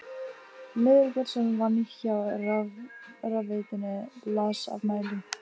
Leifur Björnsson vann hjá rafveitunni, las af mælum.